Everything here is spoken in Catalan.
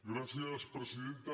gràcies presidenta